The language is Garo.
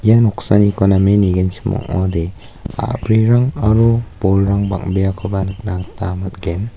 ia noksaniko name nigenchim ong·ode a·brirang aro bolrang bang·beakoba nikna gita man·gen.